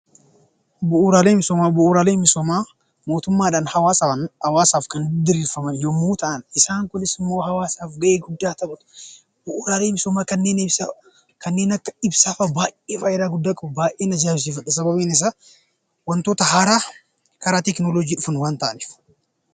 Bu'uuraalee misoomaa Bu'uuraalee misoomaa innis mootummaadhaan hawaasaaf kan diriiran yemmuu ta'an, isaan kunis immoo hawaasaaf gahee guddaa taphatu. Bu'uuraalee misoomaa kanneen akka ibsaa fa'aa baayyee fayidaa guddaa qaba. Baayyeen ajaa'ibsiifadha sababbiin isaa waantota haaraa karaa teekinooloojii dhufan waan ta'aniif.